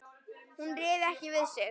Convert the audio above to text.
Hún réði ekki við sig.